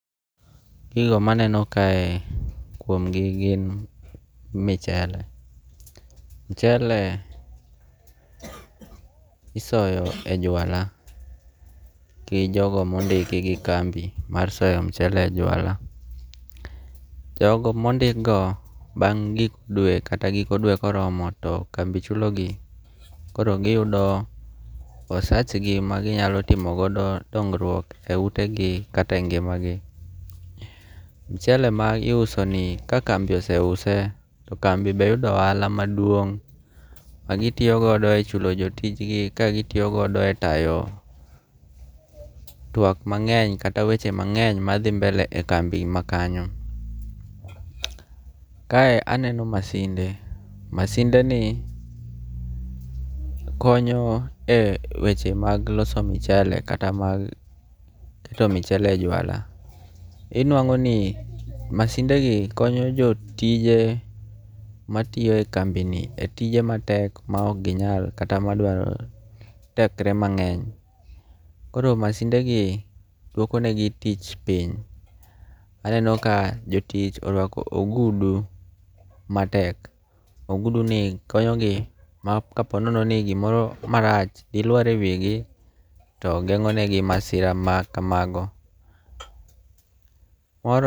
Gigo maneno kae kuom gi gin michele. Michele isoyo e jwala gi jogo mondiki gi kambi mar soyo michele e jwala. Jogo mondik go bang' gik dwe kata giko dwe koromo to kambi chulo gi. Koro giyudo osach gi ma ginyalo timogodo gongruok e ute gi kata e ngima gi. Michele ma iuso ni ka kambi ose use to kambi be yudo ohala maduong' ma gitiyogodo e chulo jotijgi ka gitiyo godo e tayo twak mang'eny kata weche mang'eny madhi mbele e kambi ma kanyo. Kae aneno masinde. Masinde ni konyo e weche mag loso michele kata mag keto michele e jwala. Inuang'o ni masinde gi konyo jotije matiyo e kambi ni e tije matek ma ok ginyal kata madwaro tekre mang'eny. Koro masinde gi dwoko ne gi tich piny. Aneno ka jotich orwako ogudu matek. Ogudu gi konyo gi ma ka ponono no gimoro marach di lawar e wi gi to geng'o ne gi masira ma kamago.